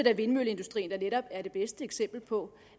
at vindmølleindustrien netop er det bedste eksempel på